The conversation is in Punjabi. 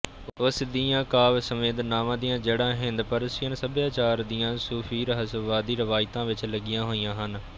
ਉਸ ਦੀਆਂ ਕਾਵਿ ਸੰਵੇਦਨਾਵਾਂ ਦੀਆਂ ਜੜ੍ਹਾਂ ਹਿੰਦਪਰਸੀਅਨ ਸਭਿਆਚਾਰ ਦੀਆਂ ਸੂਫੀਰਹੱਸਵਾਦੀ ਰਵਾਇਤਾਂ ਵਿੱਚ ਲੱਗੀਆਂ ਹੋਈਆਂ ਹਨ